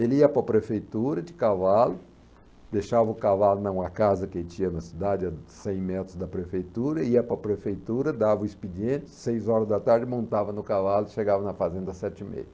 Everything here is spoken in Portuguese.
Ele ia para a prefeitura de cavalo, deixava o cavalo em uma casa que tinha na cidade, a cem metros da prefeitura, ia para a prefeitura, dava o expediente, seis horas da tarde montava no cavalo, chegava na fazenda às sete e meia.